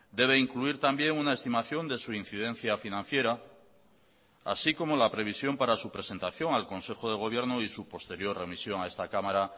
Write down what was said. debe incluir también una estimación de su incidencia financiera así como la previsión para su presentación al consejo de gobierno y su posterior remisión a esta cámara